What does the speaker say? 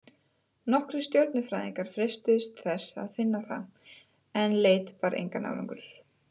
Nokkrir stjörnufræðingar freistuðu þess að finna það, en leit bar engan árangur.